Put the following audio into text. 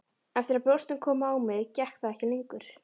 Eftir að brjóstin komu á mig gekk það ekki lengur.